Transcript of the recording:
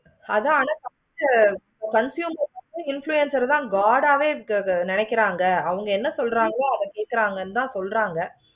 அந்த அளவுக்கு confusion வந்து influencer ஆஹ் god ஆஹ் வே நினைக்கிறாங்க அதாவது அவுங்க என்ன சொல்றாங்களோ அத கேட்குறாங்கனு தான் சொல்றாங்க ஹம்